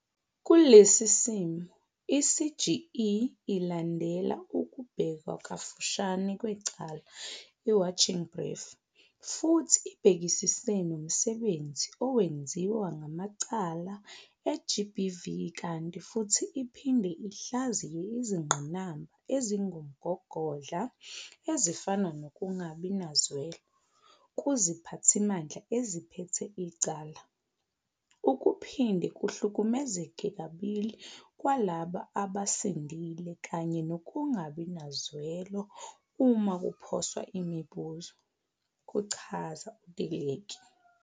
"Kulesi simo, i-CGE ilandela ukubhekwa kafushane kwecala i-Watching Brief futhi ibhekisise nomsebenzi owenziwa ngamacala e-GBV kanti futhi iphinde ihlaziye izingqinamba ezingumgogodla, ezifana nokungabi nazwelo kuziphathimandla eziphethe icala, ukuphinde kuhlukumezeke kabili kwalabo abasindile kanye nokungabi nazwelo uma kuphoswa imibuzo," kuchaza u-Teleki.